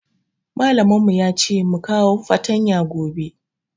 Mallamin mu ya ce mu kawo fatanya gobe.